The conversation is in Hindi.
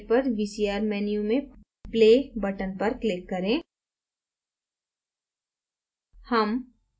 ऊपरी दाईं side पर vcr menu में play button पर click करें